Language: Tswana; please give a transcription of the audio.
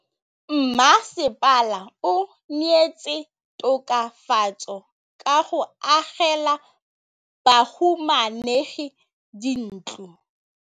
Mmasepala o neetse tokafatsô ka go agela bahumanegi dintlo.